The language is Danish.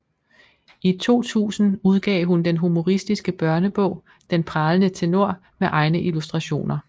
I 2000 udgav hun den humoristiske børnebog Den Pralende Tenor med egne illustrationer